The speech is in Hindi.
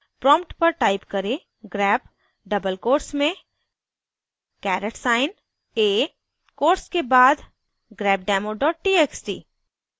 prompt पर type करें: grep double quotes में caret साइन a quotes के बाद grepdemo txt